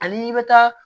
Ani i bɛ taa